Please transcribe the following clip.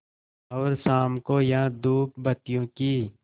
और शाम को यहाँ धूपबत्तियों की